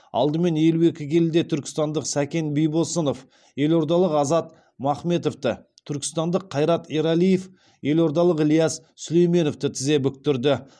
алдымен елу екі келіде түркістандық сәкен бибосынов елордалық азат махметовті түркістандық қайрат ерәлиев елордалық ілияс сүлейменовті тізе бүктірді